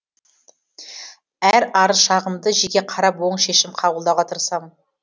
әр арыз шағымды жеке қарап оң шешім қабылдауға тырысамын